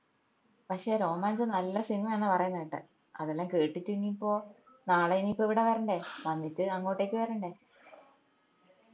പക്ഷെ രോമാഞ്ചം നല്ല സിനിമയാന്ന പറേന്ന കേട്ടെ അതേല്ലോം കേട്ടിട്ട് ഇനീപ്പോ നാളെ ഇനീപ്പോ ഇവിടെ വരണ്ടേ വന്നിട്ട് അങ്ങോട്ടേക്ക് വരണ്ടേ